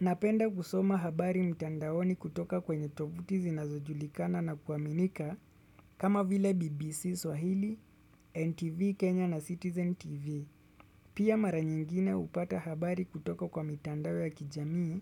Napenda kusoma habari mtandaoni kutoka kwenye tovuti zinazo julikana na kuaminika kama vile BBC Swahili, NTV Kenya na Citizen TV. Pia mara nyingine hupata habari kutoka kwa mitandao ya kijamii